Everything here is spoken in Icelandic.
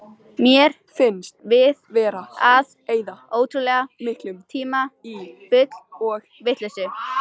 Mér finnst við vera að eyða ótrúlega miklum tíma í bull og vitleysu.